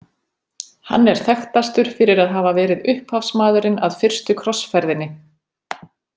Hann er þekktastur fyrir að hafa verið upphafsmaðurinn að fyrstu krossferðinni.